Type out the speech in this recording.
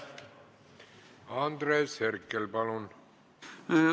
Andres Herkel, palun!